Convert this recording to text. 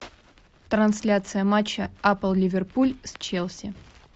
трансляция матча апл ливерпуль с челси